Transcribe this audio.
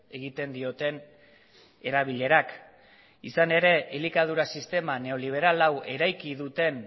egiten dioten erabilerak izan ere elikadura sistema neoliberal hau eraiki duten